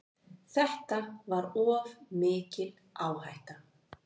Þetta var of mikil áhætta.